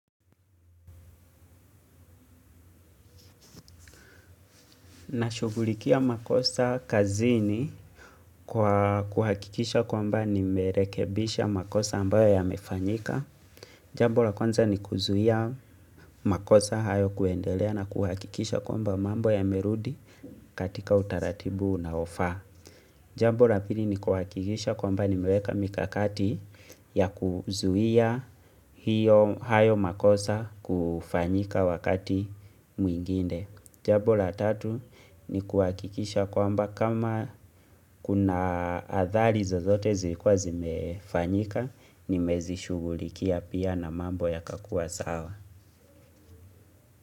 Nashugulikia makosa kazini kwa kuhakikisha kwamba nimerekebisha makosa ambayo yamefanyika. Jambo la kwanza ni kuzuia makosa hayo kuendelea na kuhakikisha kwamba mambo yamerudi katika utaratibu unaofaa. Jambo la pili ni kuhakikisha kwamba nimeweka mikakati ya kuzuia hiyo hayo makosa kufanyika wakati mwingine. Jambo la tatu ni kuakikisha kwamba kama kuna athari zozote zilikuwa zimefanyika, nimezishugulikia pia na mambo yakakua sawa.